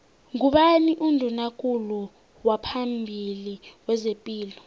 ngubani unduna kulu waphambili wezepilo